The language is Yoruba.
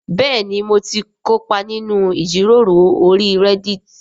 Bẹ́ẹ̀ni mo ti kópa nínú ìjíròrò orí Reddit